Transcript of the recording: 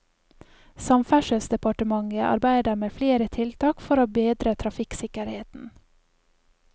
Samferdselsdepartementet arbeider med flere tiltak for å bedre trafikksikkerheten.